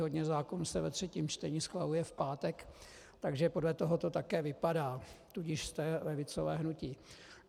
Hodně zákonů se ve třetím čtení schvaluje v pátek, takže podle toho to také vypadá, tudíž jste levicové hnutí.